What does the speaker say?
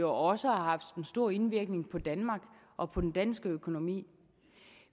jo også har haft stor indvirkning på danmark og på den danske økonomi